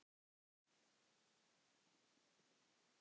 Ég syrgi hann mjög.